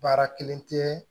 Baara kelen tɛ